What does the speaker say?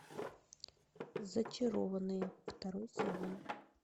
зачарованные второй сезон